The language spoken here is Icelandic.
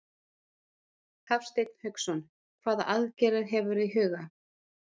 Hafsteinn Hauksson: Hvaða aðgerðir hefurðu í huga?